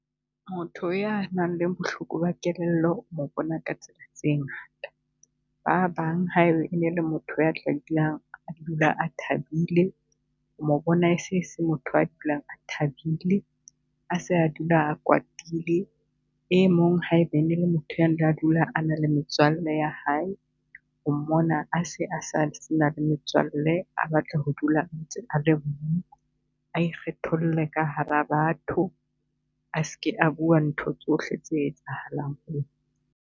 Motho ya nang le bohloko ba kelello o mo bona ka tsela tse ngata. Ba bang ha ebe ene le motho ya , a dula a thabile o mo bona e se e se motho ya dulang a thabile. A se a dula a kwatile, e mong hae be ne e le motho a dulang a na le metswalle ya hae, o mmona a se a se na le metswalle, a batle ho dula a . a ikgetholle ka hara batho, a seke a bua ntho tsohle tse etsahalang ho .